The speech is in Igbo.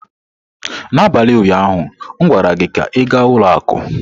N'abalị ụnyaahụ m gwara gị ka ị gaa ụlọ akụ!